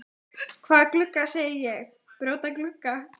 Hvaða glugga segi ég, brjóta glugga?